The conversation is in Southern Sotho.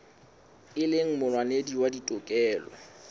e leng molwanedi wa ditokelo